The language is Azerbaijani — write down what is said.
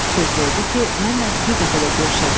Söz verdi ki, mənlə bir dəfə də görüşəcək.